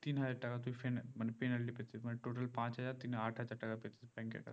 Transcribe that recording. তিন হাজার টাকা তুই ফেনে মানে penalty পড়েছিস মানে total পাঁচ হাজার তিন এ আট হাজার টাকা পেতিস bank এর কাছে